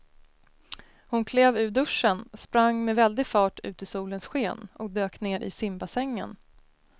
Hon klev ur duschen, sprang med väldig fart ut i solens sken och dök ner i simbassängen.